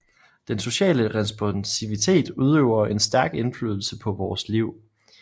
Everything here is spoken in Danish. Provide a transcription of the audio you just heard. Den sociale responsivitet udøver en stærk indflydelse på vores liv